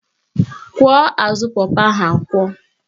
Kwọọ azụ pọpọ ahụ akwọ